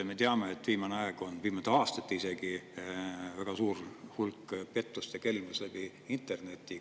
Me teame, et viimastel aastatel on väga suur hulk pettust ja kelmust internetis.